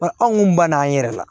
Nka anw kun banana an yɛrɛ la